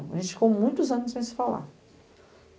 A gente ficou muitos anos sem se falar.